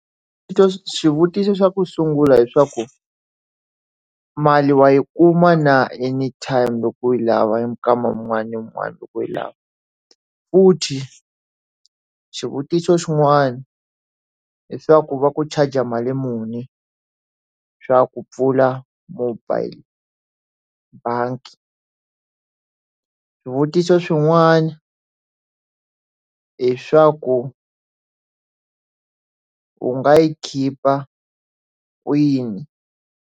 Swi to swivutiso swa ku sungula i swaku mali wa yi kuma na anytime loko u yi lava nkarhi wun'wana na wun'wana loko u yi lava futhi swivutiso xin'wana hi swa ku va ku charger mali muni swa ku pfula mobile bangi swivutiso swin'wana i swaku u nga yi khipha kwini.